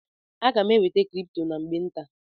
M ga-enweta kripto na mgbe nta.